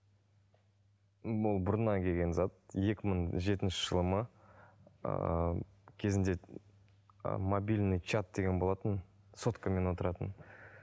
м бұл бұрыннан келген зат екі мың жетінші жылы ма ыыы кезінде ыыы мобильный чат деген болатын соткамен отыратын